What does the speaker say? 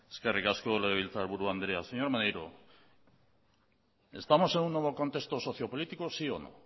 eskerrik asko legebiltzarburu andrea señor maneiro estamos en un nuevo contexto socio político sí o no